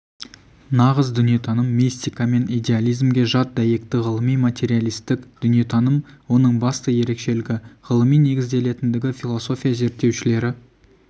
нағыз дүниетаным мистика мен идеализмге жат дәйекті ғылыми-материалистік дүниетаным оның басты ерекшелігі ғылыми негізделетіндігі философия зерттеушілері